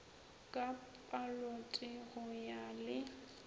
ka palote go ya le